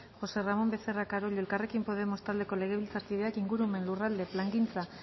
josé ramón becerra carollo elkarrekin podemos taldeko legebiltzarkideak ingurumen lurralde plangintza